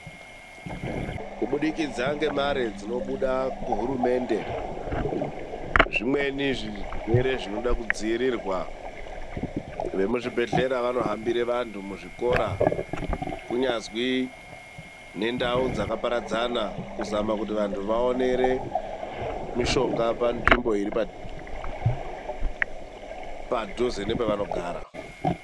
Kubudikidza ngemare dzinobuda kuhurumende, zvimweni zvirwere zvinoda kudzivirirwa. Vemuzvibhedhlera vanohambira vandu muzvikora kunyazwi ngendau dzakaparadzana kuzama kuti vandu vaonere mishonga panzvimbo dziri padhuze nepavanogara.